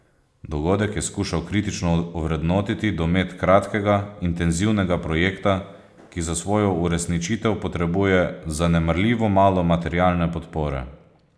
Dogodek je skušal kritično ovrednotiti domet kratkega, intenzivnega projekta, ki za svojo uresničitev potrebuje zanemarljivo malo materialne podpore.